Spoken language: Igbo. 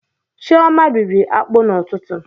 Chioma rịrị akpụ n'ụtụtụ